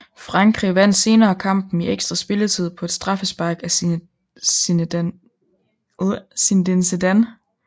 Frankrig vandt senere kampen i ekstra spilletid på et straffespark af Zinedine Zidane